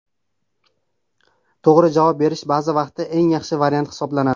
To‘g‘ri javob berish ba’zi vaqtda eng yaxshi variant hisoblanadi.